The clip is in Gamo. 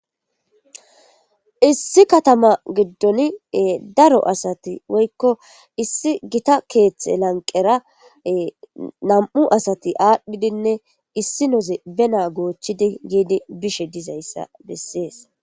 issi katama giddon daro asati woykko issi gita keeththe lanqera nam'u asati aadhdhidinne issi nazi bena goochidi giidi bishe dizayssa bessees